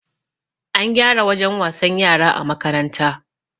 An gyara wajen wasan yara a makaranta